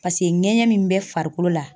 Paseke ŋɛɲɛ min bɛ farikolo la